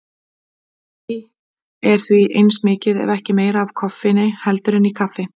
Í tei er því eins mikið ef ekki meira af koffeini heldur en í kaffi.